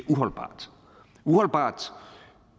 uholdbart uholdbart